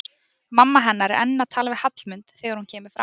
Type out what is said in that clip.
Mamma hennar er enn að tala við Hallmund þegar hún kemur fram.